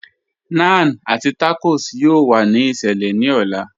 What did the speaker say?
Naan àti tacos yọ̀ò wà ní ìṣẹlẹ̀ ní ò̩là.